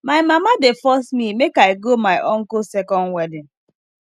my mama dey force me make i go my uncle second wedding